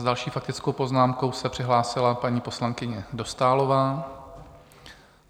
S další faktickou poznámkou se přihlásila paní poslankyně Dostálová.